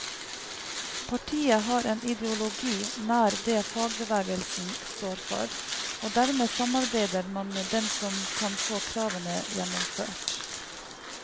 Partiet har en ideologi nær det fagbevegelsen står for, og dermed samarbeider man med dem som kan få kravene gjennomført.